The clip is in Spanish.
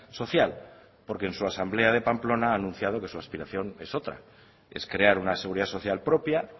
social porque en su asamblea de la pamplona ha anunciado que su aspiración es otra es crear una seguridad social propia